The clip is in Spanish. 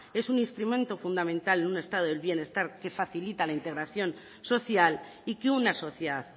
es un instrumento fundamental de un estado del bienestar que facilita la integración social y que una sociedad